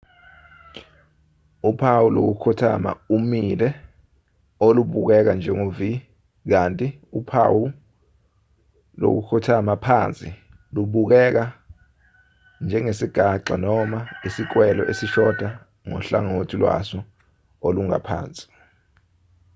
uphawu lokukhothama umile olubukeka njengo-v kanti uphawu lokukhothama phansi lubukeka njengesigaxa noma isikwele esishoda ngohlangothi lwaso olungaphansi